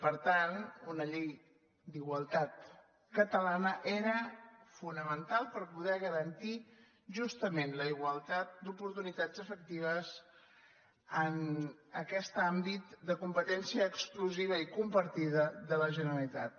per tant una llei d’igualtat catalana era fonamental per poder garantir justament la igualtat d’oportunitats efectives en aquest àmbit de competència exclusiva i compartida de la generalitat